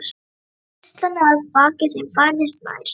Hríslan að baki þeim færðist nær.